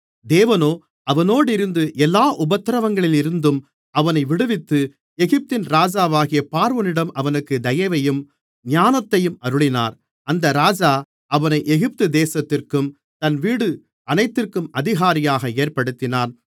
தேவனோ அவனோடிருந்து எல்லா உபத்திரவங்களில் இருந்தும் அவனை விடுவித்து எகிப்தின் ராஜாவாகிய பார்வோனிடம் அவனுக்கு தயவையும் ஞானத்தையும் அருளினார் அந்த ராஜா அவனை எகிப்துதேசத்திற்கும் தன் வீடு அனைத்திற்கும் அதிகாரியாக ஏற்படுத்தினான்